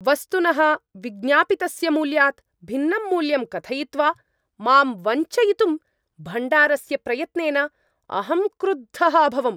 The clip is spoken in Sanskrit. वस्तुनः विज्ञापितस्य मूल्यात् भिन्नं मूल्यं कथयित्वा मां वञ्चयितुं भण्डारस्य प्रयत्नेन अहं क्रुद्धः अभवम्।